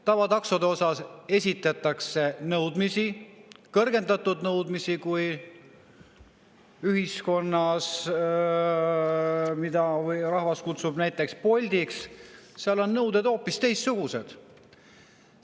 Tavataksodele esitatakse kõrgendatud nõudmisi, samas kui nende puhul, mida rahvas kutsub näiteks Boltiks, on nõuded hoopis teistsugused.